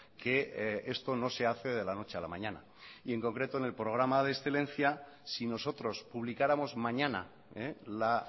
que esto no se hace de la noche a la mañana y en concreto en el programa de excelencia si nosotros publicáramos mañana la